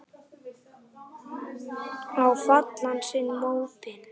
Og fá allan sinn mótbyr.